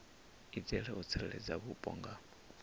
itela u tsireledza vhupo nga